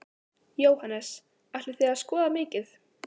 Jóhannes: Ætlið þið að skoða mikið?